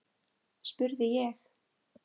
spurði ég.